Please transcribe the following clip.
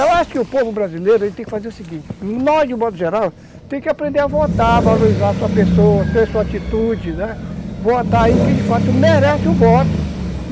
Eu acho que o povo brasileiro tem que fazer o seguinte, nós de modo geral, tem que aprender a votar, valorizar a sua pessoa, ter sua atitude, votar em quem de fato merece o voto.